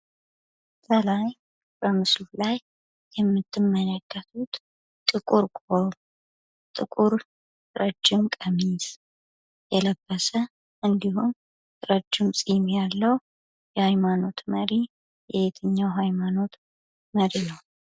ከላይ በምስሉ ላይ የምትመለከቱት ጥቁር ቆብ ጥቁር ረጅም ቀሚስ የለበሰ እንዲሁም ረጅም ፂም ያለው የሃይማኖት መሪ የየትኛው ሃይማኖት መሪ ነው።